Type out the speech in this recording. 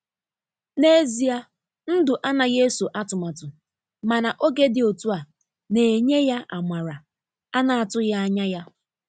Na ezia ndụ anaghị eso atụmatụ, mana oge dị otú a na-enye ya amara ana-atụghị anya ya.